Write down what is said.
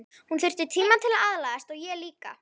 Hún þyrfti tíma til að aðlagast og ég líka.